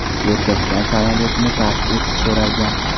Erkakdan samolyotni tark etish so‘ralgan.